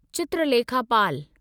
Chitralekha Pal